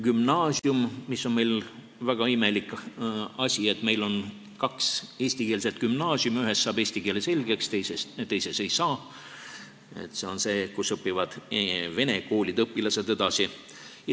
Gümnaasiumiga on meil väga imelik asi: meil on kaks eestikeelset gümnaasiumi, ühes saab eesti keeles asjad selgeks, teises ei saa, selles, kus õpivad edasi vene koolide õpilased.